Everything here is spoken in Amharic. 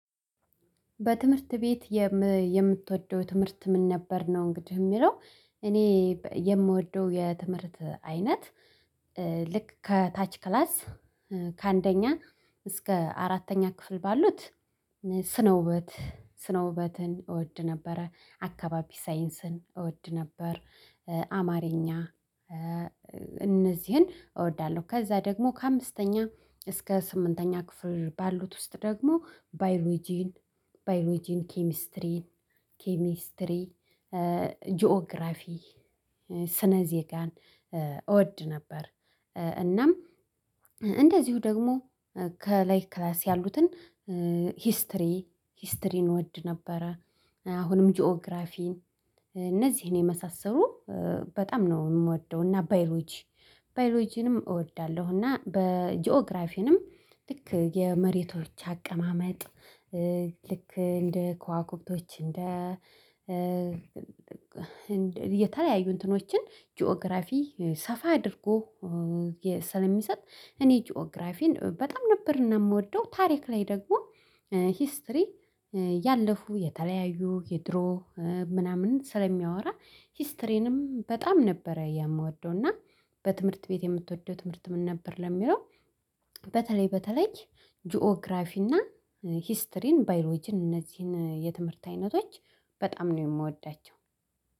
በትምህርት ቤት የምትወደው ትምህርት ምን ነበር ነው እንግዲህ እሚለው? እኔ የምወደው የትምህርት አይነት ልክ ከታች ክላስ ከአንደኛ እስከ አራተኛ ክፍል ባሉት ስነ ውበት ስነ ውበትን እወድ ነበረ አካባቢ ሳይንስን እወድ ነበር። አማርኛ እነዚህን እወዳለሁ ከዛ ደግሞ ከአምስተኛ እስከ ስምንተኛ ክፍል ባሉት ውስጥ ደግሞ ባዮሎጂን ባዮሎጂን ኬሚስትሪ ኬሚስትሪ ጂኦግራፊ ስነ ዜጋን እወድ ነበር እናም እንደዚሁ ደግሞ ከላይ ክላስ ያሉትን ሂስትሪ ሂስትሪን እወድ ነበረ። አሁንም ጂኦግራፊን እነዚህን የመሳሰሉ በጣም ነው እምወደው እና ባዮሎጂ ባዮሎጂንም እወዳለሁ። እና በጂኦግራፊንም ልክ የመሬቶች አቀማመጥ ልክ እንደ ከዋከብቶች እንደ እንደ የተለያዩ እንትኖችን ጂኦግራፊ ሰፋ አድርጎ ስለሚሰጥ እኔ ጂኦግራፊን በጣም ነበር እና እምወደው። ታሪክ ላይ ደግሞ ሂስትሪ ያለፉ የተለያዩ የድሮ ምናምን ስለሚያወራ ሂስትሪንም በጣም ነበረ የምወደው። እና በትምህርት ቤት የምትወደው ትምህርት ምን ነበር ለሚለው? በተለይ በተለይ ጂኦግራፊ እና ሂስትሪን ባይሎጂን እነዚህን የትምህርት አይነቶች በጣም ነው የምወዳቸው